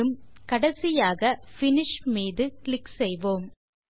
மேலும் கடைசியாக finish button மீது கிளிக் செய்வோம்